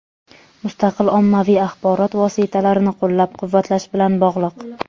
mustaqil ommaviy axborot vositalarini qo‘llab-quvvatlash bilan bog‘liq.